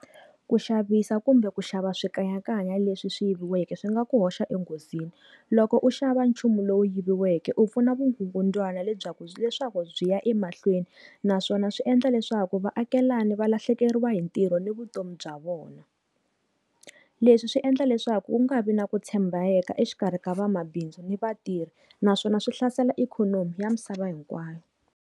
Ku xavisa kumbe ku xava swikanyakanya leswi swi yiviweke swi nga ku hoxa enghozini loko u xava nchumu lowu yiviweke u pfuna vugungundzwana lebyikulu bya leswaku byiya emahlweni naswona swi endla leswaku vaakelani va lahlekeriwa hi ntirho ni vutomi bya vona leswi swi endla leswaku ku nga vi na ku tshembeka exikarhi ka vamabindzu ni vatirhi naswona swi hlasela ikhonomi ya misava hinkwayo.